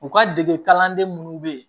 U ka dege kalanden munnu be ye